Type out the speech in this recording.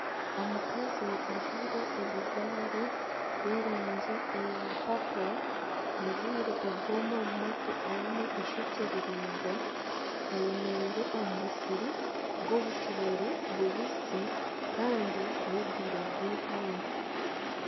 Omukazi ajwire ebijwaro by'erangi ya papo, ajwire obwoma omu matu, aine ishokye riringwa ayemereire omu musiri gw'obucoori bubisi kandi n'obwire bw'eihangwe.